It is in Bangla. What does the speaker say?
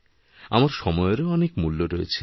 আমার সময়েরও অনেক মূল্য রয়েছে